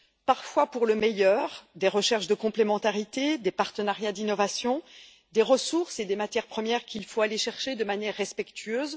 Parfois pour le meilleur des recherches de complémentarité, des partenariats d'innovation, des ressources et des matières premières qu'il faut aller chercher de manière respectueuse.